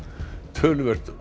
töluvert